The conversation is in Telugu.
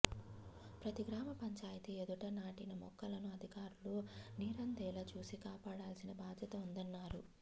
ప్రతి గ్రామ పంచాయతీ ఎదుట నాటిన మొక్కలకు అధికారులు నీరందేలా చూసి కాపాడాల్సిన బాద్యత ఉందన్నారు